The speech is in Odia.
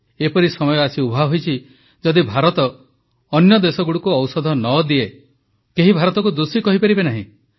ଏପରି ସମୟ ଆସି ଉଭାହୋଇଛି ଯଦି ଭାରତ ଅନ୍ୟ ଦେଶଗୁଡ଼ିକୁ ଔଷଧ ନ ଦିଏ କେହି ଭାରତକୁ ଦୋଷୀ କହିପାରିବେ ନାହିଁ